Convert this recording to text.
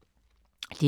DR K